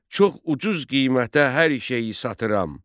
Çox ucuz qiymətə hər şeyi satıram.